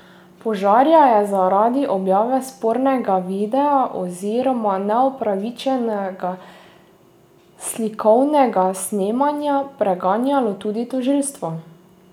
Požarja je zaradi objave spornega videa oziroma neupravičenega slikovnega snemanja preganjalo tudi tožilstvo.